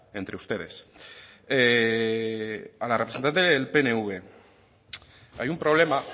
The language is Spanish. entre ustedes a la representante del pnv hay un problema